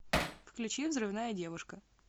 включи взрывная девушка